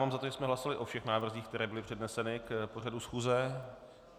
Mám za to, že jsme hlasovali o všech návrzích, které byly předneseny k pořadu schůze.